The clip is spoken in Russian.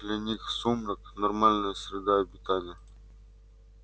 для них сумрак нормальная среда обитания